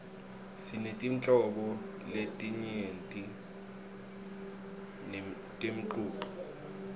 sinetinhlobo letinyenti temcuco